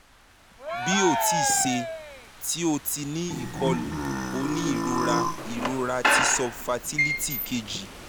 bi o ti ṣe ti o ti ni ikolu o ni irora irora ti subfertility keji